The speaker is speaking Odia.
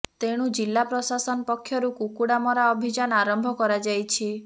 ତେଣୁ ଜିଲ୍ଲା ପ୍ରଶାସନ ପକ୍ଷରୁ କୁକୁଡା ମରା ଅଭିଯାନ ଆରମ୍ଭ କରା ଯାଇଛି